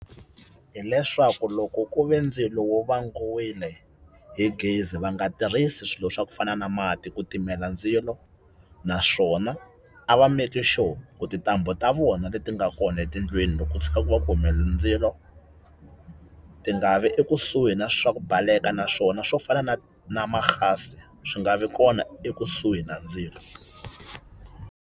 Hi leswaku loko ku ve ndzilo wo vangiwile hi gezi va nga tirhisi swilo swa ku fana na mati ku timela ndzilo, naswona a va make sure ku tintambu ta vona leti ti nga kona etindlwini loko ko tshuka ku va ku humelele ndzilo ti nga vi ekusuhi na swa ku baleka naswona swo fana na na gas swi nga vi kona ekusuhi na ndzilo.